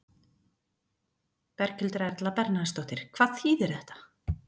Berghildur Erla Bernharðsdóttir: Hvað þýðir þetta?